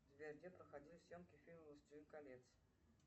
сбер где проходили съемки фильма властелин колец